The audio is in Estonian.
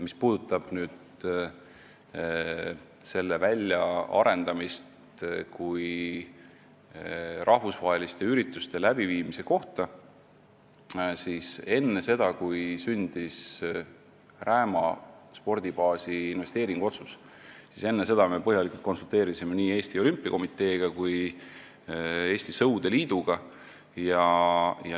Mis puudutab selle kui rahvusvaheliste ürituste läbiviimise koha väljaarendamist, siis enne seda, kui sündis Rääma spordibaasi investeeringu otsus, me konsulteerisime põhjalikult nii Eesti Olümpiakomiteega kui Eesti Sõudeliiduga.